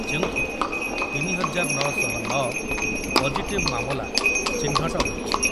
ଯେଉଁଥରୁ ତିନି ହଜାର ନ ଶହ ନ ପଜିଟିଭ୍ ମାମଲା ଚିହ୍ନଟ ହୋଇଛି ।